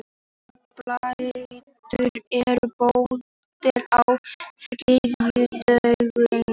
Reginbaldur, er bolti á þriðjudaginn?